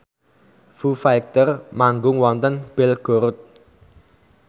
Foo Fighter manggung wonten Belgorod